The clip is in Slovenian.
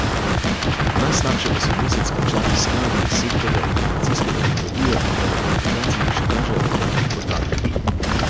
Najslabše pa so mesec končali skladi iz sektorja informacijske tehnologije in telekomunikacij, še kažejo podatki portala.